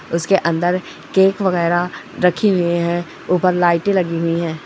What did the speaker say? उसके अन्दर केक वगैरा रखी हुई है ऊपर लाइटें लगी हुई है।